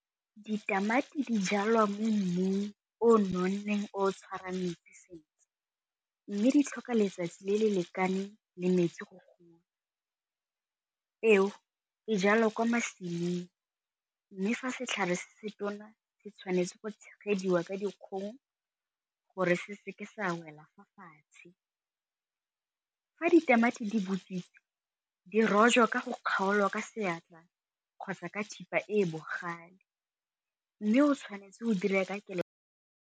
Ditamati di jalwa mo mmung o nonneng o tshwarang metsi sentle mme di tlhoka letsatsi le le lekane le metsi , peo e jalwa kwa masimong mme fa setlhare se se tona se tshwanetse go tshegediwa ka dikgong gore se se ke sa wela fa fatshe. Fa ditamati di botswitse di rojwa ka go kgaolwa ka seatla kgotsa ka thipa e bogale, mme o tshwanetse go dira ka kelo.